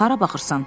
Hara baxırsan?